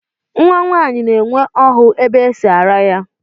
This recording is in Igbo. Nnwa nwaanyị na-enwe ọhụ ebe e si ara ya